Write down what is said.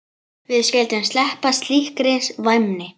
Við skyldum sleppa slíkri væmni.